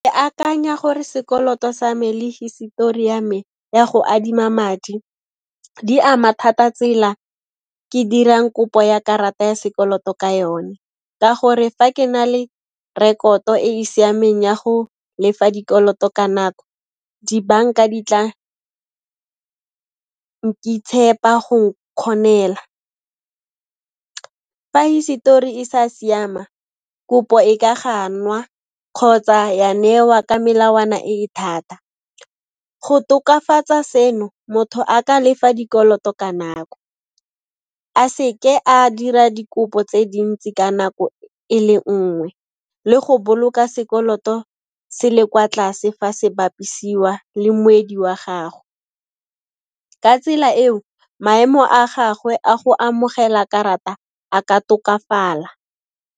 Ke akanya gore sekoloto sa me le hisetori ya me ya go adima madi, di ama thata tsela ke dirang kopo ya karata ya sekoloto ka yone, ka gore fa ke na le rekoto e e siameng ya go lefa dikoloto ka nako, dibanka di tla tshepa go kgonela. Fa hisetori e sa siama, kopo e ka ganwa kgotsa ya newa ka melawana e e thata. Go tokafatsa seno, motho a ka lefa dikoloto ka nako, a seke a dira dikopo tse dintsi ka nako e le nngwe le go boloka sekoloto se le kwa tlase fa se bapisiwa le moedi wa gago. Ka tsela eo, maemo a gagwe a go amogela karata, a ka tokafala.